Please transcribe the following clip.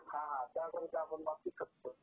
हां त्या पण बाबतीत असतं.